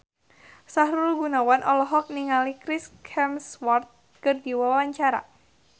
Sahrul Gunawan olohok ningali Chris Hemsworth keur diwawancara